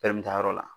yɔrɔ la